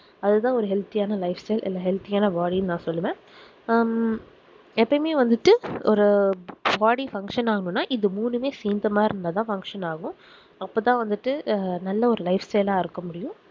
அதுதான் ஒரு healthy ஆனா life style இல்ல healthy ஆ body யும் நான் சொல்லுவேன் ஹம் எப்போமே வந்துட்டு ஒரு body function ஆகுனா இந்த மூணுமே சேர்ந்த மாதிரி இருந்தா தான் function ஆகும் அப்போதான் வந்துட்டு நல்ல ஒரு life style ஆஹ் இருக்க முடியும்